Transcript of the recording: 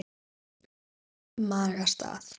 Maga. stað?